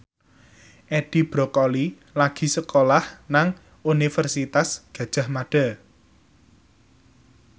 Edi Brokoli lagi sekolah nang Universitas Gadjah Mada